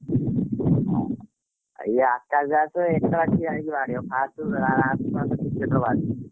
ହଁ ଇଏ ଆକାଶ ଦାସ ଏକା ଠିଆ ହେଇ ବାଡେଇବ first last ପର୍ଯ୍ୟନ୍ତ bat ରେ ବାଜୁନି।